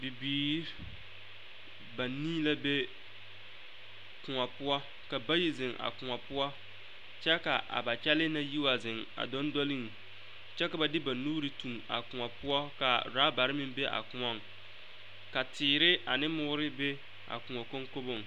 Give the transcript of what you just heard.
Bibiiri banii la be koɔ poɔ ka bayi zeŋ a koɔ poɔ kyɛ ka a ba kyɛlɛɛ na yi wa zeŋ a dondoleŋ kyɛ ka ba de ba nuure tuŋ a koɔ poɔ ka raabare meŋ be a koɔŋ ka teere ane moore be a koɔ koŋkoboŋ.